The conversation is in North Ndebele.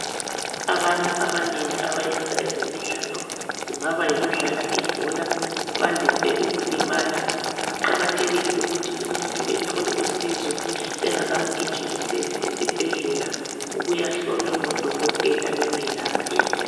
Abantu abanengi abayenza ezemidlalo, kungaba yikudlala ibhola bandise ukulimala. Kuqakathekile ukuthi umuntu ethole usizo bengakamgijimiseli esibhedlela ukuya hlolwa ngodokotela bemelaphe.